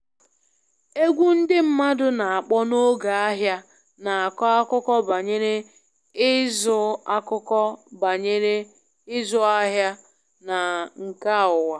Egwu ndị mmadụ na-akpọ n'oge ahịa na-akọ akụkọ banyere ịzụ akụkọ banyere ịzụ ahịa na nka ụwa